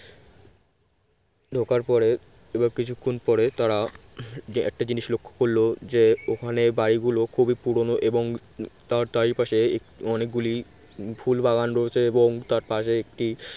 ঢোকার পরে কিছুক্ষণ পরে তারা একটা জিনিস লক্ষ্য করল যে ওখানে বাড়ি গুলো খুবই পুরনো এবং তার চারিপাশে অনেকগুলি ফুলবাগান রয়েছে এবং তার পাশে একটি